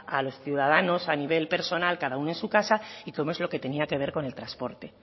a los ciudadanos a nivel personal cada uno en su casa y como es lo que tenía que ver con el transporte